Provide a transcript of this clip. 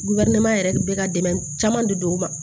yɛrɛ de bɛ ka dɛmɛ caman di don ma